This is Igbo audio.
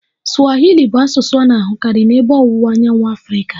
Swahili bụ asụsụ a na-ahụkarị n'Ebe Ọwụwa Anyanwụ Afrịka